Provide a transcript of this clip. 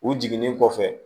U jiginnen kɔfɛ